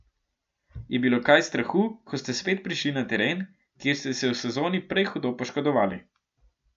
Je bilo kaj strahu, ko ste spet prišli na teren, kjer ste se v sezoni prej hudo poškodovali?